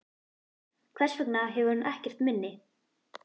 Hvers vegna hefur hún ekkert minni?